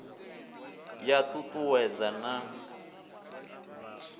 ya t ut uwedza na